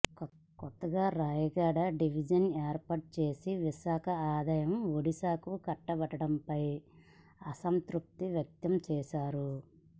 కొత్తగా రాయగడ డివిజన్ ఏర్పాటు చేసి విశాఖ ఆదాయం ఒడిశాకు కట్టబెట్టడంపై అసంతృప్తి వ్యక్తం చేశారు